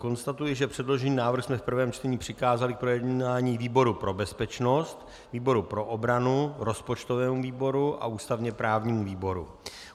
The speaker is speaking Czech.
Konstatuji, že předložený návrh jsme v prvém čtení přikázali k projednání výboru pro bezpečnost, výboru pro obranu, rozpočtovému výboru a ústavně právnímu výboru.